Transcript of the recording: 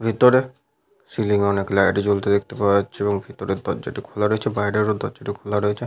ভেতরে সিলিং এ অনেক লাইট জ্বলতে দেখতে পাওয়া যাচ্ছে এবং ভিতরের দরজাটি খোলা রয়েছে। বাইরেরও দরজাটি খোলা রয়েছে।